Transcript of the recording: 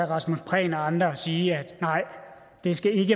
rasmus prehn og andre sagde sige at nej det skal ikke